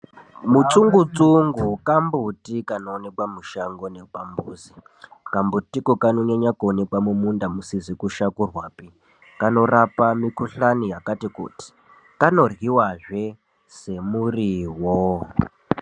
Mutsungu tsungu kambuti kanoonekwa mushango nepambuzi kambutiko kanonyanya kuwanikwa mumunda musizi kushakurwa kanorapa mukuhlani yakati kuti kanoryiwazve semuriwo.